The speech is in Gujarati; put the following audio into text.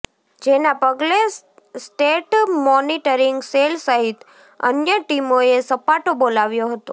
જેનાં પગલે સ્ટેટ મોનીટરીંગ સેલ સહિત અન્ય ટીમોએ સપાટો બોલાવ્યો હતો